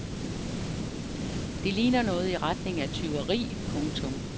Det ligner noget i retning af tyveri. punktum